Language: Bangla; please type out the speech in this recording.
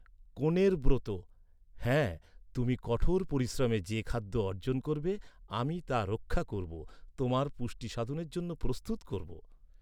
কনের ব্রত, হ্যাঁ, তুমি কঠোর পরিশ্রমে যে খাদ্য অর্জন করবে, আমি তা রক্ষা করব, তোমার পুষ্টিসাধনের জন্য প্রস্তুত করব।